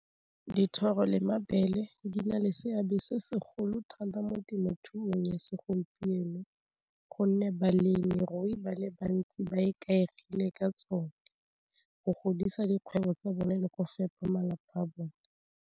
Dithoro le mabele di na le seabe se segolo thata mo temothuong ya segompieno gonne balemirui ba le bantsi ba ikaegile ka tsone, go godisa dikgwebo tsa bone le ko fepa malapa a bone.